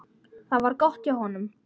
Það var gott hjá honum.